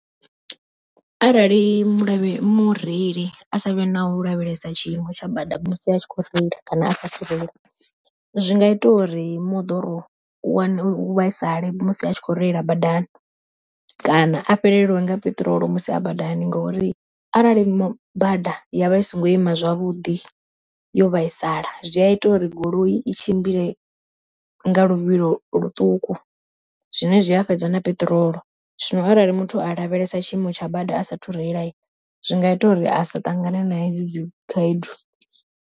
Arali mu lovhe mureili a savhe na u lavhelesa tshiimo tsha bada musi a tshi kho reila kana a sathu reila. Zwi nga ita uri moḓoro u wane u vhaisale musi a tshi kho reila badani, kana a fhelelwe nga peṱirolo musi a badani, ngori arali bada ya vha i songo ima zwavhuḓi yo vhaisala zwi a ita uri goloi i tshimbile nga luvhilo ḽuṱuku, zwine zwi a fhedza na peṱirolo. Zwino arali muthu a lavhelesa tshiimo tsha bada a sathu reila zwi nga ita uri a sa ṱangane na hedzi dzi khaedu.